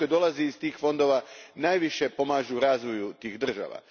Novac koji dolazi iz tih fondova najviše pomaže razvoju tih država.